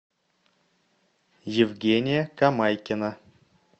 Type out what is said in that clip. евгения камайкина